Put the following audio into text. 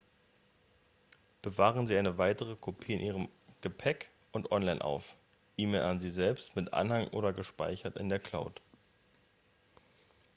bewahren sie eine weitere kopie in ihrem gepäck und online auf e-mail an sie selbst mit anhang oder gespeichert in der cloud